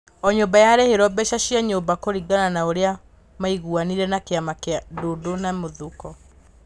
O nyũmba yarĩhirwo mbeca cia nyũmba kũringana na ũrĩa maiguanĩire na kĩama kĩa Ndundu na Mũthoko.